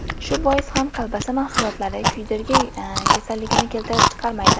Shu bois ham kolbasa mahsulotlari kuydirgi kasalligini keltirib chiqarmaydi .